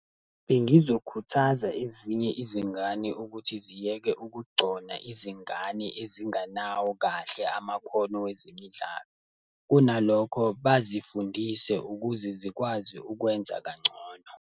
Bengizokhuthaza ezinye izingane ukuthi ziyeke ukugcona izingane ezingenawo kahle amakhono wezemidlalo. Kunalokho, bazifundise ukuze zikwazi ukwenza kangcono.